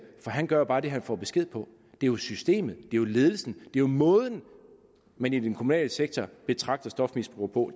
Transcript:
for han gør jo bare det han får besked på det er jo systemet det er ledelsen det er måden man i den kommunale sektor betragter stofmisbrugere på